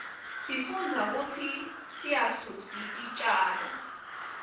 sifundza kutsi siryasusi titjalo